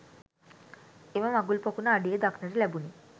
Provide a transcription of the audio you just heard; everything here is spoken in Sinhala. එම මගුල් පොකුණ අඩියේ දක්නට ලැබුණි.